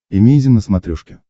эмейзин на смотрешке